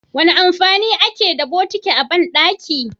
Wane amfani ake da botiki a bandaki?